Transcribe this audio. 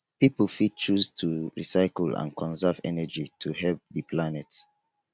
pipo fit choose to recycle and conserve energy to help di planet